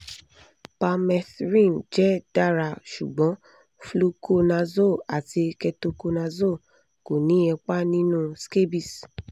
permethrin jẹ dara ṣugbọn fluconazole ati ketoconazole ko ni ipa ninu scabies